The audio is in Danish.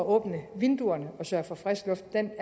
at åbne vinduerne og sørge for frisk luft en